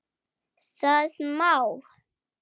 Það má!